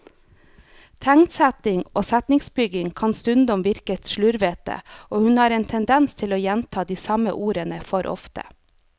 Tegnsetting og setningsbygning kan stundom virke slurvete, og hun har en tendens til å gjenta de samme ordene for ofte.